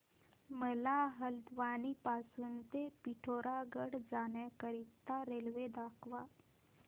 मला हलद्वानी पासून ते पिठोरागढ पर्यंत जाण्या करीता रेल्वे दाखवा